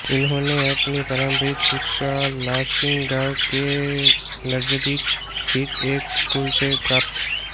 इन्होंने अपनी प्रारंभिक शिक्षा लांसिंग गाँव के नजदीक स्थित एक स्कूल से प्राप्त